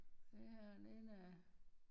Ja den der